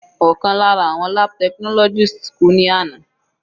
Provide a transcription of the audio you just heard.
Ọ̀kan lára àwọn lab technologist kú ní àná.